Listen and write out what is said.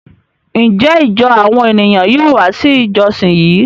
Njẹ ijọ awọn eniyan yóò wá si ijọsin yí?